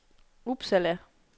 Uppsala